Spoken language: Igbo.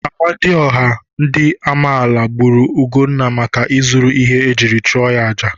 Amadioha ndị Amaala gburu Ugonna maka izuru ihe ejiri chụọrọ ya àjà.